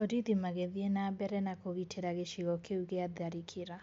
Borithi magĩthiĩ na mbere na kũgitĩra gĩcigo kĩu gĩa tharĩkĩra